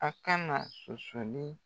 A kana sɔsɔli.